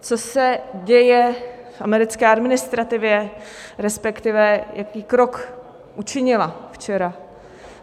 Co se děje v americké administrativě, respektive jaký krok učinila včera?